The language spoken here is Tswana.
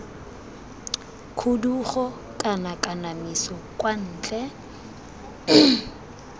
khudugo kana kanamiso kwa ntle